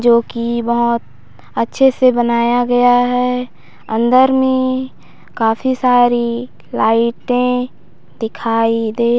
जो की बहुत अच्छे से बनाया गया है अंदर में काफी सारी लाइटे दिखाई दे रही--